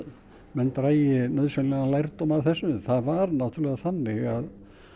menn dragi nauðsynlegan lærdóm af þessu það var náttúrulega þannig